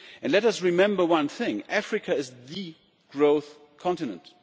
Let us remember one thing Africa is the growth continent.